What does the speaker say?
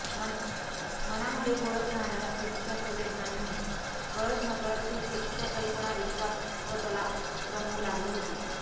मनामध्ये घोळत राहणाऱ्या सेक्सच्या संवेदनांनी कळत नकळत ती सेक्सच्या कल्पनाविश्वात स्वतला रमवू लागली होती